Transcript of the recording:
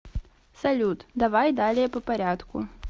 салют давай далее по порядку